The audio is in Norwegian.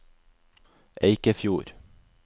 Eikefjord